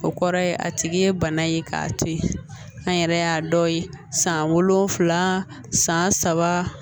O kɔrɔ ye a tigi ye bana ye k'a to ye an yɛrɛ y'a dɔ ye san wolonwula san saba